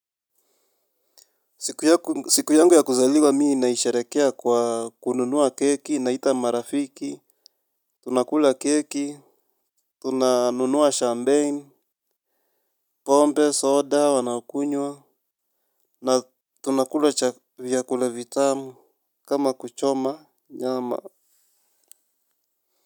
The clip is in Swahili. Siku yangu ya kuzaliwa mi naisherehekea kwa kununua keki, naita marafiki, tunakula keki, tunanunua champagne, pombe, soda, wanakunywa, na tunakula vyakula vitamu, kama kuchoma nyama.